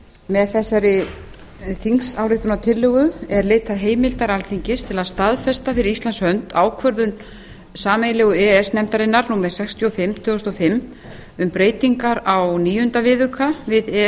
með þessari þingsályktunartillögu er leitað heimildar alþingis til að staðfesta fyrir íslands hönd ákvörðun sameiginlegu e e s nefndarinnar númer sextíu og fimm tvö þúsund og fimm um breytingar á níunda viðauka við e e s